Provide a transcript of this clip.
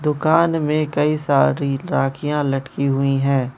दुकान में कई सारी राखियां लटकी हुई हैं।